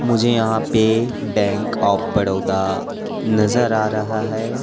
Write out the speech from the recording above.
मुझे यहां पे बैंक ऑफ़ बड़ोदा नजर आ रहा है।